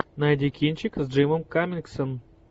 найди кинчик с джимом каммингсом